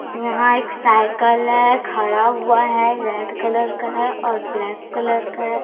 यहां एक साइकल है खड़ा हुआ है रेड कलर का है और ब्लैक कलर का है।